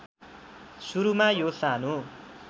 सुरूमा यो सानो